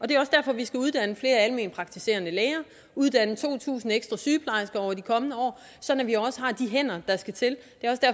det er også derfor vi skal uddanne flere alment praktiserende læger uddanne to tusind ekstra sygeplejersker over de kommende år sådan at vi også har de hænder der skal til